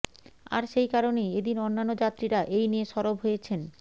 আর সেই কারণেই এদিন অন্যান্য যাত্রীরা এই নিয়ে সরব হয়েছেন